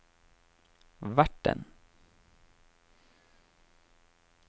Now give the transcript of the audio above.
verten